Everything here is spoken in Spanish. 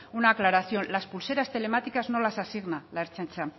una aclaración las pulseras telemáticas no las asigna la ertzaintza